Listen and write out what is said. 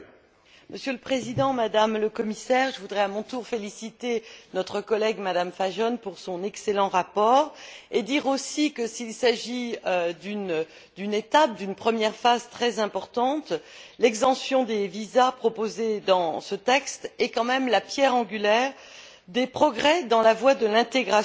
Monsieur le Président, Madame la Commissaire, je voudrais à mon tour féliciter notre collègue, Mme Fajon, pour son excellent rapport et dire aussi que, s'il s'agit d'une étape, d'une première phase très importante, l'exemption des visas proposée dans ce texte est quand même la pierre angulaire des progrès dans la voie de l'intégration.